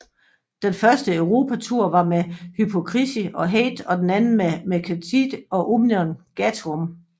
Den første Europa tour var med Hypocrisy og Hate og den anden med Mercenary og Omnium Gatherum